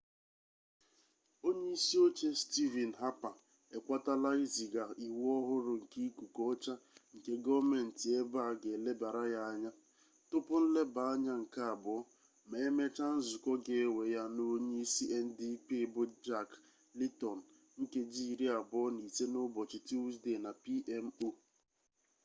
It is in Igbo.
onye isi oche stivin hapa ekwetala iziga iwu ọhụrụ nke ikuku ọcha nke gọọmenti ebe a ga elebara ya anya tupu nleba anya nke abụọ ma emechaa nzukọ ga-ewe ya na onye isi ndp bụ jak leeton nkeji iri abụọ na ise n'ụbọchị tuzde na pmo